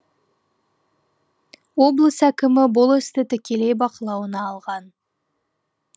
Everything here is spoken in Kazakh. облыс әкімі бұл істі тікелей бақылауына алған